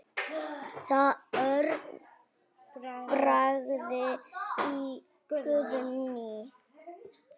Örn Bragi og Guðný.